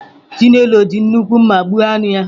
Chinelo ji nnukwu mma gbuo anụ ahụ.